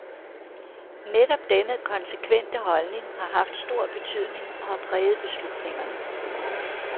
Netop denne konsekvente holdning har haft stor betydning og har præget beslutningerne.